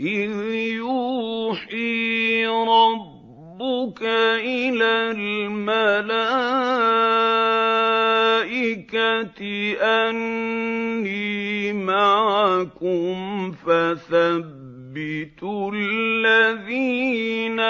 إِذْ يُوحِي رَبُّكَ إِلَى الْمَلَائِكَةِ أَنِّي مَعَكُمْ فَثَبِّتُوا الَّذِينَ